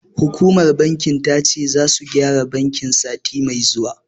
Hukumar bankin ta ce, zasu gyara bankin, sati mai zuwa.